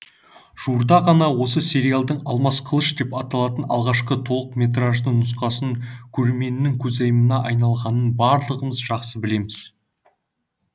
жуырда ғана осы сериалдың алмас қылыш деп аталған алғашқы толықметраждынұсқасы көрерменнің көзайымына айналғанын барлығымыз жақсы білеміз